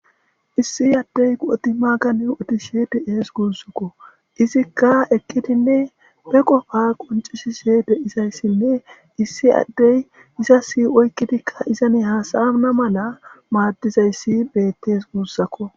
Issi addey qodi maaga odishe de'es guussuko. Izikka eqqidinne be qofa qonccisishe de'izayssinne issi addey izas oyqqidinne iza haasa'ana mala maaddizays beettes guussakko.